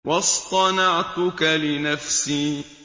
وَاصْطَنَعْتُكَ لِنَفْسِي